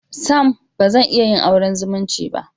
Sam! Bazan iya yin auren zumunci